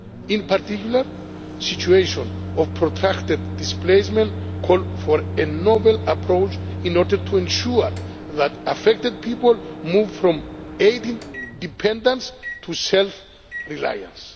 In particular, situations of protracted displacement call for a novel approach in order to ensure that affected people move from aid dependence to self reliance.